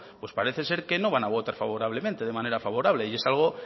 pues parece ser que no van a votar favorablemente de manera favorable y es algo